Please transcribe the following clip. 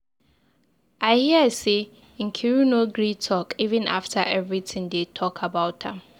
I hear say Nkiru no gree talk even after everything dey talk about am.